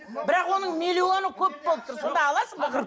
бірақ оның миллионы көп болып тұр сонда аласың ба